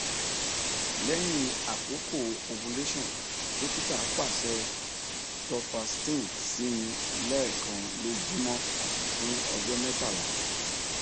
lẹhin akoko ovulation dokita paṣẹ duphaston si mi lẹẹkan lojumọ fun ọjọ mẹtala